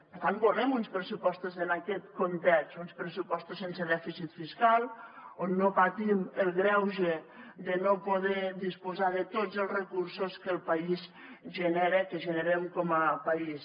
per tant volem uns pressupostos en aquest context uns pressupostos sense dèficit fiscal on no patim el greuge de no poder disposar de tots els recursos que el país genera que generem com a país